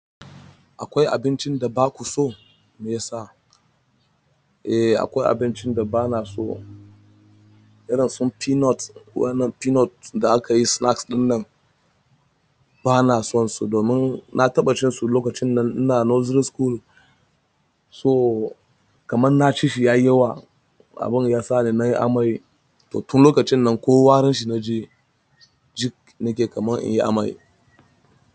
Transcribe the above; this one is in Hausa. Akwai abincin da ba ku so me ya sa? Eh akwai abincin da bana so, irin su peanut, wannan peanut da akayi snacks ɗinnan bana son su domin na taɓa cin su lokacin da ina nursery school. To kaman na ci shi yayi yawa. Abin ya sa ni nayi amai, to tun lokacin nan ko warin shi naji ji nake kamar in yi amai.